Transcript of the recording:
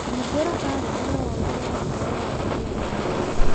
hingũra karenda na wongerere ũhoro wa kĩririkano